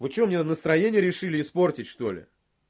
вы что мне настроение решили испортить что ли